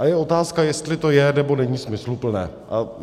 A je otázka, jestli to je, nebo není smysluplné.